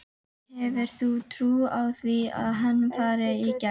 Hefur þú trú á því að hann fari í gegn?